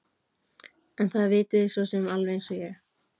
En það vitið þið svo sem alveg eins og ég.